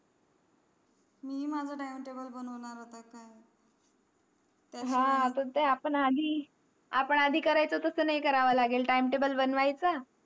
मी माझा timetable बनवणार आहे हा पण ते आपण आधी आपण आधी करायचा तास नाही करायचा करावा लागेल timetable बनवायचा